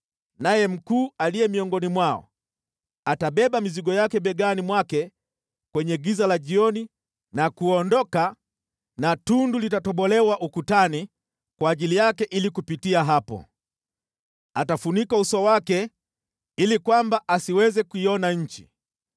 “Naye mkuu aliye miongoni mwao atabeba mizigo yake begani mwake kwenye giza la jioni na kuondoka na tundu litatobolewa ukutani kwa ajili yake ili kupitia hapo. Atafunika uso wake ili kwamba asiweze kuiona nchi.